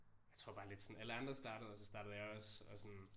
Jeg tror bare lidt sådan alle andre startede og så startede jeg også og sådan